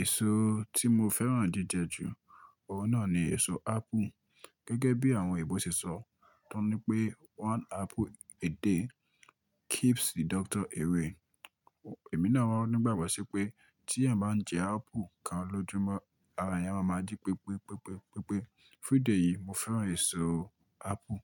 Èso tí mo fẹ́ràn jíjẹ jù ọ̀hun náà ni èso apple. Gẹ́gẹ́ bí àwọn ibò ṣe sọ, tọ́ ní pé "One apple a day keeps the doctor away." ẹ̀mí náà wà nígbàgbọ́ sí pé tí ẹ́eyan bá ńjẹ apple kan lójúmọ́, ara ẹ́eyan yóò máa jí pepepepe. Fún ìdí eyìí, mo fẹ́ràn èso apple